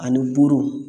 Ani boro